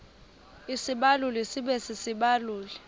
isibaluli sibe sisibaluli